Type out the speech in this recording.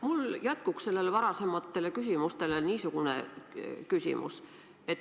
Mul on jätkuks varasematele küsimustele niisugune küsimus.